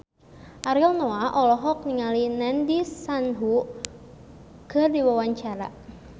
Ariel Noah olohok ningali Nandish Sandhu keur diwawancara